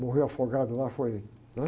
morreu afogado lá, foi, né?